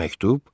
Məktub?